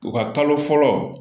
U ka kalo fɔlɔ